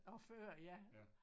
Og før ja